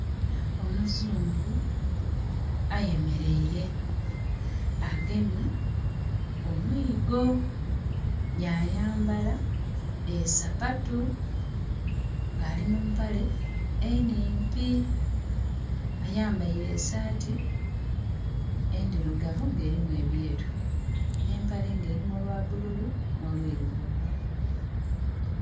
Omuzungu ayemereire agemye omwigo ya yambala esapatu ng' alimumpale enimpi. Ayambaire esaati endirugavu nga erimu ebyeru n' empale nga erimu olwa bululu no lwirugavu